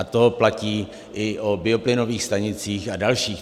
A to platí i o bioplynových stanicích a dalších.